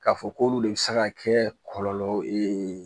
K'a fɔ k'olu de bi se ka kɛ kɔlɔlɔ ye